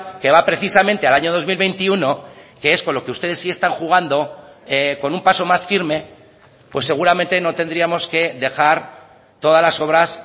que va precisamente al año dos mil veintiuno que es con lo que ustedes sí están jugando con un paso más firme pues seguramente no tendríamos que dejar todas las obras